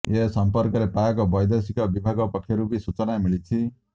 ଏ ସଂପର୍କରେ ପାକ୍ ବୈଦେଶିକ ବିଭାଗ ପକ୍ଷରୁ ବି ସୂଚନା ମିଳିଛି